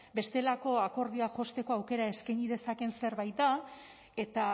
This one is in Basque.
bestelako akordioak josteko aukera eskaini dezakeen zerbait da eta